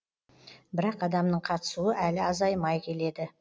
бірақ адамның қатысуы әлі азаймай келеді